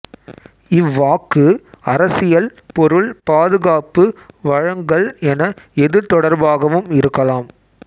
இவ்வாக்கு அரசியல் பொருள் பாதுகாப்பு வழங்கல் என எது தொடர்பாகவும் இருக்கலாம்